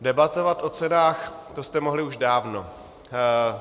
Debatovat o cenách, to jste mohli už dávno.